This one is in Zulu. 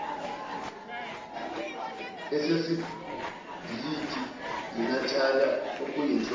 esisebhilidini inatalia okuyinhloko